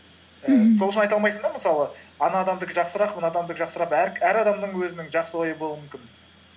сол үшін айта алмайсың да мысалы ана адамдыкы жақсырақ мына адамдыкы жақсырақ әр адамның өзінің жақсы ойы болуы мүмкін